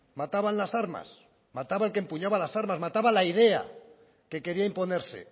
mataban las armas mataba el que empuñaba las armas mataba la idea que quería imponerse